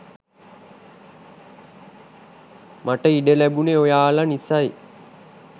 මට ඉඩ ලැබුණේ ඔයාලා නිසයි.